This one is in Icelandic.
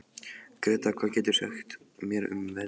Gretar, hvað geturðu sagt mér um veðrið?